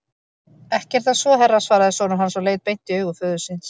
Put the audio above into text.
Ekki er það svo herra, svaraði sonur hans og leit beint í augu föður síns.